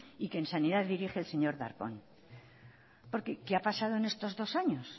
y que en sanidad dirige el señor darpón por qué qué ha pasado en estos dos años